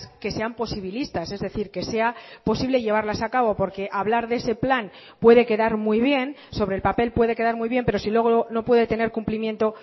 que sean posibilistas es decir que sea posible llevarlas acabo porque hablar de ese plan puede quedar muy bien sobre el papel puede quedar muy bien pero si luego no puede tener cumplimiento